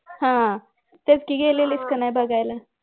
हम्म तेच कि गेलेलीस कि नाही बघायला